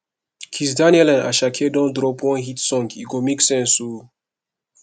kizz daniel and asake don drop one hit song e make sense o